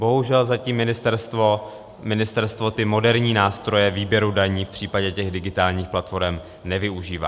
Bohužel zatím ministerstvo ty moderní nástroje výběru daní v případě těch digitálních platforem nevyužívá.